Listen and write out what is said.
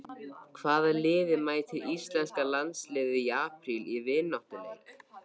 Hvaða liði mætir Íslenska landsliðið í apríl í vináttuleik?